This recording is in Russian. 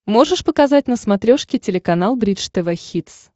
можешь показать на смотрешке телеканал бридж тв хитс